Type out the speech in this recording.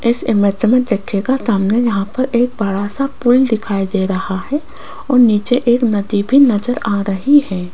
इस इमेज में देखिएगा सामने यहां पर एक बड़ा सा पूल दिखाई दे रहा है और नीचे एक नदी भी नजर आ रही है।